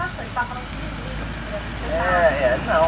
A gente estava falando de Nijinski, né? Do espetáculo., é, não.